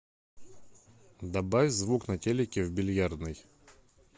добавь звук на телике в бильярдной